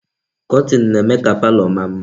Kọtin na-eme ka palo maa mma.